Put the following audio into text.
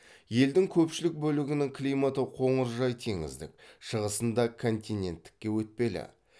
елдің көпшілік бөлігінің климаты қоңыржай теңіздік шығысында континенттікке өтпелі